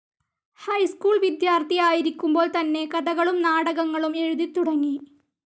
High school വിദ്യാർത്ഥി ആയിരിക്കുമ്പോൾ തന്നെ കഥകളും നാടകങ്ങളും എഴുതിത്തുടങ്ങി.